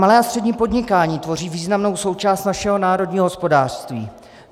Malé a střední podnikání tvoří významnou součást našeho národního hospodářství.